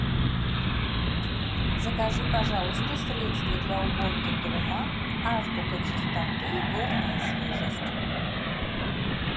закажи пожалуйста средство для уборки дома азбука чистоты горная свежесть